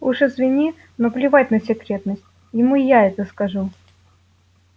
уж извини но плевать на секретность ему я это скажу